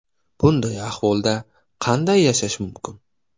Bunday ahvolda qanday yashash mumkin?!